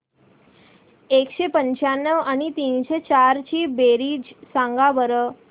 एकशे पंच्याण्णव आणि तीनशे चार ची बेरीज सांगा बरं